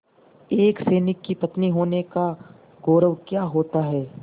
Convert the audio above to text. एक सैनिक की पत्नी होने का गौरव क्या होता है